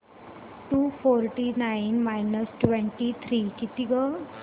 to forty nine minus twenty three किती गं